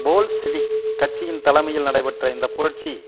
Bolshevik கட்சியின் தலைமையில் நடைபெற்ற இந்த புரட்சி